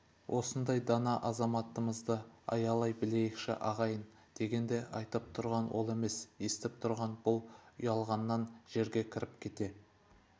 осындай дана азаматымызды аялай білейікші ағайын дегенде айтып тұрған ол емес естіп тұрған бұл ұялғаннан жерге кіріп кете